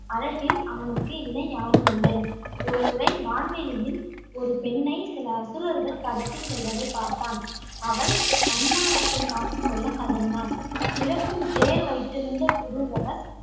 அழகில் அவனுக்கு இணை யாருமில்லை. ஒருமுறை வான்வெளியில் ஒரு பெண்ணை சில அசுரர்கள் கடத்திச் செல்வதைப் பார்த்தான். அவள் தன் மானத்தைக் காத்துக் கொள்ள கதறினாள். பிறக்கும் தேர் வைத்திருந்த புரூரவஸ்,